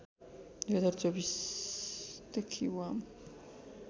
०२४ देखि वाम